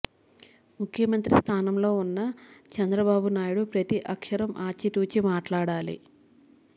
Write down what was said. ముఖ్యమంత్రి స్థానంలో ఉన్న చంద్ర బాబునాయుడు ప్రతి అక్షరం ఆచితూచి మాట్లాడాలి